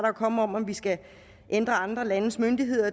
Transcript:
er kommet om om vi skal ændre andre landes myndigheders